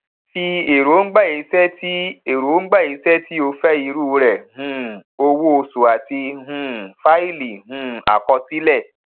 fi èròngbà iṣẹ tí èròngbà iṣẹ tí o fẹ irú rẹ um owó oṣù àti um fáìlì um àkọsílẹ